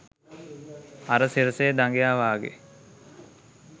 අර සිරසෙ දඟයා වාගෙ